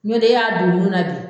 Ɲɔn tɛ e y'a don nu na bi